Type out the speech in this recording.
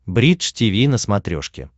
бридж тиви на смотрешке